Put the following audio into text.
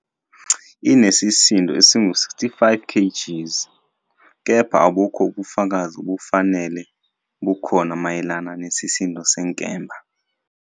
Inesisindo esingu-65 kgs, kepha abukho ubufakazi obufanele bukhona mayelana nesisindo senkemba.